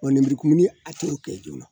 Bon lenburukumuni a t'o kɛ joona